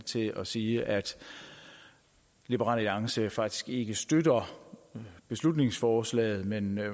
til at sige at liberal alliance faktisk ikke støtter beslutningsforslaget men